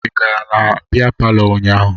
Ị gara na bịa palọ ụnyaahụ?